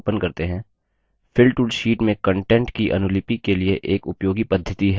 fill tool fill tool sheet में contents की अनुलिपि के लिए एक उपयोगी पद्धति है